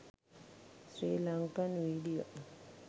sri lankan video